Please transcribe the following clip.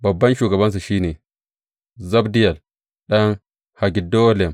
Babban shugabansu shi ne Zabdiyel ɗan Haggedolim.